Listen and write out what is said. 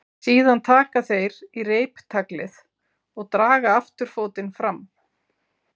Síðan taka þeir í reiptaglið og draga afturfótinn fram.